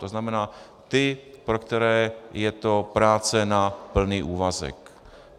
To znamená, ti, pro které je to práce na plný úvazek.